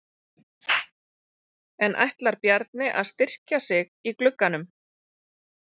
En ætlar Bjarni að styrkja sig í glugganum?